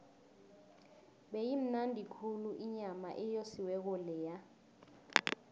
beyimnandi khulu inyama eyosiweko leya